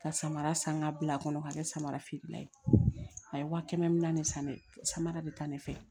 Ka samara san ka bila a kɔnɔ ka kɛ samara feerela ye a ye wa kɛmɛ ni naani de san samara bɛ taa ne fɛ